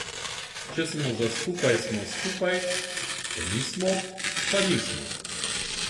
Če smo za skupaj, smo skupaj, če nismo, pa nismo.